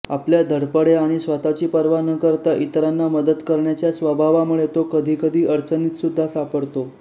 आपल्या धडपड्या आणि स्वतःची पर्वा न करता इतरांना मदत करण्याच्या स्वभावामुळे तो कधीकधी अडचणीतसुद्धा सापडतो